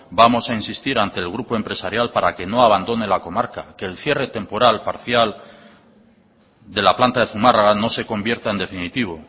vamos a insistir ante el grupo empresarial para que no abandone la comarca que el cierre temporal parcial de la planta de zumarraga no se convierta en definitivo